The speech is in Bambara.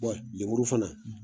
lemuru fana.